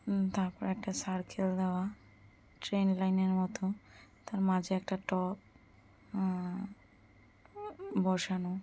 উ তারপরে একটা সার্কেল দেওয়া-আ ট্রেন লাইন এর মতো তার মাঝে একটা টব উম বসানো।